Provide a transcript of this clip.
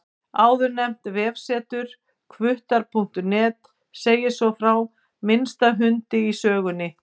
Áðurnefnt vefsetur, hvuttar.net, segir svo frá minnsta hundi í sögunni.